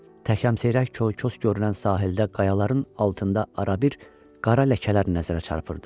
Tək-əmseyrek, koy-koy görünən sahildə qayaların altında arabir qara ləkələr nəzərə çarpırdı.